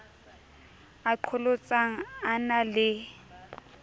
a qholotsang a na le